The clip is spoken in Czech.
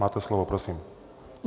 Máte slovo, prosím.